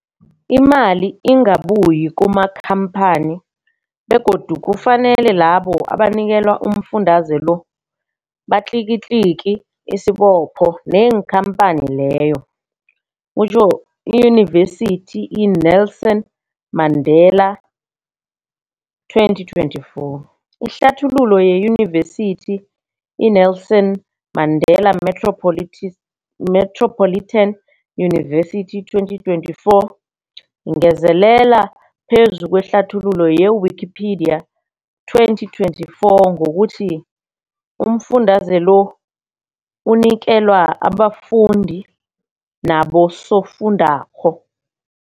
Imali ingabuyi kumakhamphani begodu kufanele labo abanikelwa umfundaze lo batlikitliki isibopho neenkhamphani leyo, Yunivesity i-Nelson Mandela 2024. Ihlathululo yeYunivesithi i-Nelson Mandela Metropolitan University, 2024, ingezelele phezu kwehlathululo ye-Wikipedia, 2024, ngokuthi umfundaze lo unikelwa abafundi nabosofundwakgho.